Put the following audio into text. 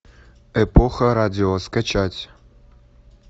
эпоха радио скачать